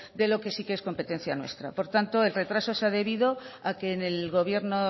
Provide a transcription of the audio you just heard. de lo que sí que es competencia nuestra por tanto el retraso se ha debido a que en el gobierno